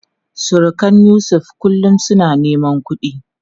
Surukan Yusuf kullum suna neman kudi.